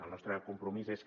el nostre compromís és que